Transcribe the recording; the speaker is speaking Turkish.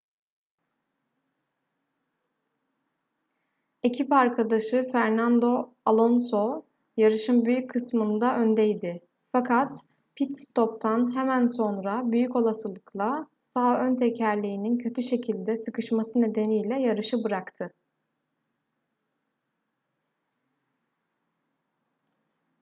ekip arkadaşı fernando alonso yarışın büyük kısmında öndeydi fakat pit-stop'tan hemen sonra büyük olasılıkla sağ ön tekerleğinin kötü şekilde sıkışması nedeniyle yarışı bıraktı